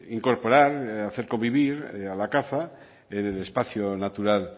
incorporar hacer convivir a la caza en el espacio natural